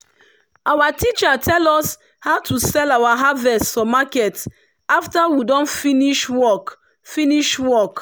our teacher tell us how to sell our harvest for market after we don finish work. finish work.